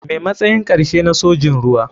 Me matsayin karshe na sojin ruwa.